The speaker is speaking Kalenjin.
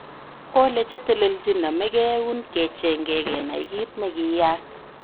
Kole chetelelchin nomekeeun kechenge kenai kit nekiyaak